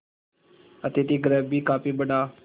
अतिथिगृह भी काफी बड़ा